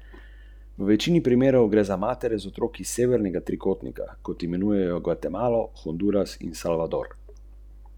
Sodelovali naj bi še trije storilci, enega policija išče, dva pa sta neznana.